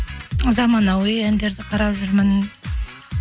заманауи әндерді қарап жүрмін